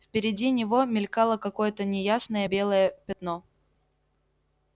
впереди него мелькало какое-то неясное белое пятно